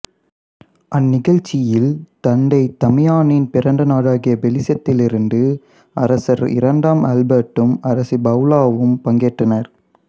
அந்நிகழ்ச்சியில் தந்தை தமியானின் பிறந்த நாடாகிய பெல்சியத்திலிருந்து அரசர் இரண்டாம் ஆல்பெர்ட்டும் அரசி பவுலாவும் பங்கேற்றனர்